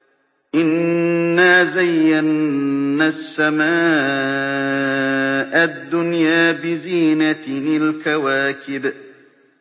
إِنَّا زَيَّنَّا السَّمَاءَ الدُّنْيَا بِزِينَةٍ الْكَوَاكِبِ